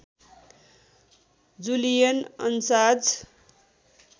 Julian अन्साज